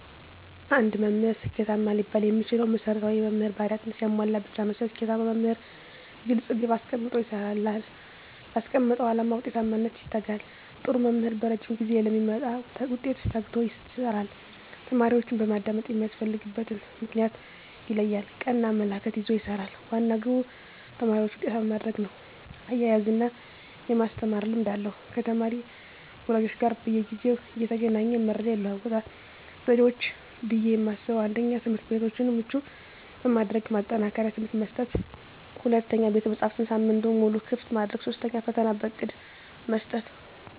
አንድ መምህር ስኬታማ ሊባል የሚችለው መሰረታዊ የመምህር ባህርያትን ሲያሟላ ብቻ ነው። ስኬታማ መምህር ግልፅ ግብ አስቀምጦ ይሰራል: ላስቀመጠው አላማ ውጤታማነት ይተጋል, ጥሩ መምህር በረዥም ጊዜ ለሚመጣ ውጤት ተግቶ ይሰራል። ተማሪዎችን በማዳመጥ የሚያስፈልግበትን ምክንያት ይለያል ,ቀና አመለካከት ይዞ ይሰራል, ዋና ግቡ ተማሪዎችን ውጤታማ ማድረግ ነው እያዝናና የማስተማር ልምድ አለው ከተማሪ ወላጆች ጋር በየጊዜው እየተገናኘ መረጃ ይለዋወጣል። ዘዴዎች ብዬ የማስበው 1ኛ, ትምህርትቤቶችን ምቹ በማድረግ ማጠናከሪያ ትምህርት መስጠት 2ኛ, ቤተመፅሀፍትን ሳምንቱን ሙሉ ክፍት ማድረግ 3ኛ, ፈተና በእቅድ መስጠት።